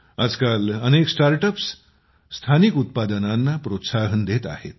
आजकाल अनेक स्टार्टअप्स स्थानिक उत्पादनांना प्रोत्साहन देत आहेत